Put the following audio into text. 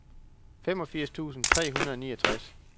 femogfirs tusind tre hundrede og niogtres